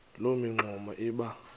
loo mingxuma iba